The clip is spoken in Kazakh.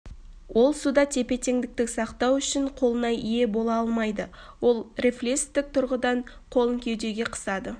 ол суда тепе-теңдікті сақтау үшін қолына ие бола алмайды ол рефлестік тұрғыдан қолын кеудеге қысады